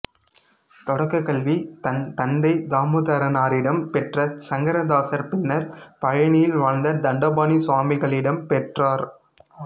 தொடக்கக் கல்வி தன் தந்தை தாமோதரனாரிடம் பெற்ற சங்கரதாசர் பின்னர் பழனியில் வாழ்ந்த தண்டபாணி சுவாமிகளிடம் பெற்றார்